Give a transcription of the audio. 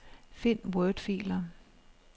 Find wordfiler.